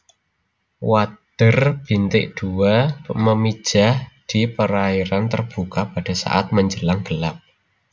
Wader bintik dua memijah di perairan terbuka pada saat menjelang gelap